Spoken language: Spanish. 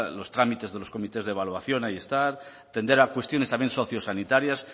los trámites de los comités de evaluación ahí están tender a cuestiones también socio sanitarias